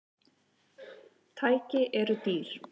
Tæki eru dýr.